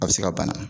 A bɛ se ka bana